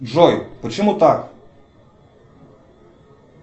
джой почему так